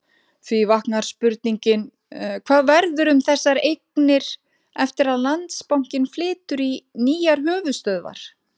Því vaknar spurningin, hvað verður um þessar eignir eftir að Landsbankinn flytur í nýjar höfuðstöðvar?